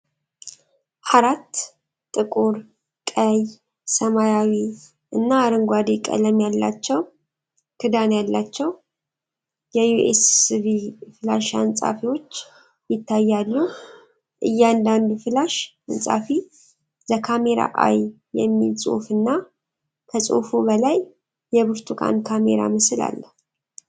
አራት ጥቁር፣ ቀይ፣ ሰማያዊ እና አረንጓዴ ቀለም ያላቸው ክዳን ያላቸው የዩኤስቢ ፍላሽ አንጻፊዎች ይታያሉ። እያንዳንዱ ፍላሽ አንጻፊ "THE CAMERA EYE" የሚል ጽሑፍ እና ከጽሑፉ በላይ የብርቱካን ካሜራ ምስል አለው።